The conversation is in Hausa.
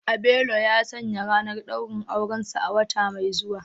Abelo ya sanya ranar daurin aurensa a wata mai zuwa